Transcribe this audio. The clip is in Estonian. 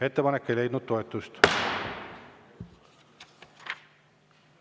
Ettepanek ei leidnud toetust.